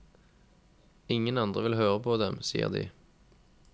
Ingen andre vil høre på dem, sier de.